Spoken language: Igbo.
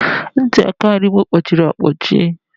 Ntị aka nri m kpọchiri akpọchiere.